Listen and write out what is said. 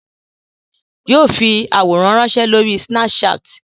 Yóò fi àwòrán ránsẹ́ lórí snapchat